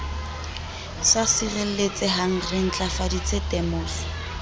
sa sireletsehang re ntlafaditse temoso